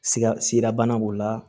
Siga siga bana b'o la